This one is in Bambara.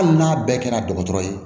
Hali n'a bɛɛ kɛra dɔgɔtɔrɔ ye